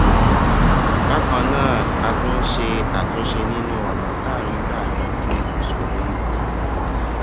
bákan náà a tún ń ṣe àtúnṣe nínú ònà tá à ń gbà yanjú ìṣòro ikú